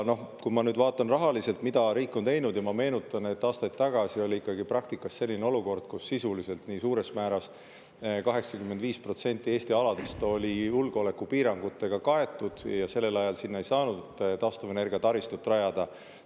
Kui ma nüüd vaatan rahaliselt, mida riik on teinud, siis ma meenutan, et aastaid tagasi oli ikkagi praktikas selline olukord, kus sisuliselt oli suurel määral, 85% Eesti aladest julgeolekupiirangutega kaetud ja sellel ajal sinna ei saanud taastuvenergiataristut rajada.